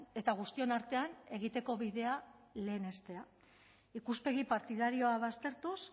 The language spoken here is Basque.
eta guztion artean egiteko bidea lehenestea ikuspegi partidarioa baztertuz